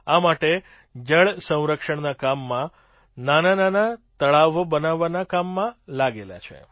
આ માટે જળસંરક્ષણના કામમાં નાનાંનાનાં તળાવો બનાવવાના કામમાં લાગેલા છે